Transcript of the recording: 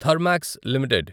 Thermax limited